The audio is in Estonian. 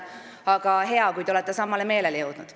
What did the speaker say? Aga hea, kui te olete samale meelele jõudnud.